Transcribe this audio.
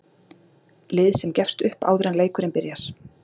Lið sem gefst upp áður en leikurinn byrjar